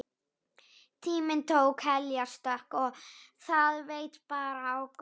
Tíminn tók heljarstökk og það veit bara á gott.